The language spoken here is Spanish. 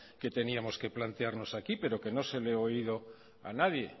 que teníamos que plantearnos aquí pero que no se lo he oído a nadie